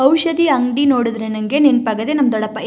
ಔಷಧಿ ಅಂಗಡಿ ನೋಡಿದ್ರೆ ನಂಗೆ ನೆನಪಾಗದೆ ನಮ್ ದೊಡ್ಡಪ್ಪ --